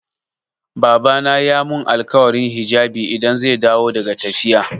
Babana ya mun alkawarin hijabi idan zai dawo daga tafiya.